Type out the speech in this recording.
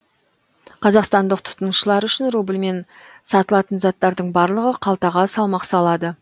қазақстандық тұтынушылар үшін рубльмен сатылатын заттардың барлығы қалтаға салмақ салады